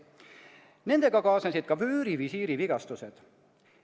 "Nendega kaasnesid ka vöörivisiiri vigastused.